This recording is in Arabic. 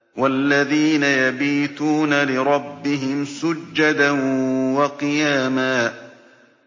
وَالَّذِينَ يَبِيتُونَ لِرَبِّهِمْ سُجَّدًا وَقِيَامًا